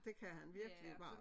Det kan han virkelig meget